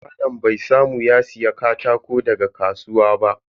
Malam bai samu ya siya katako daga kasuwa ba.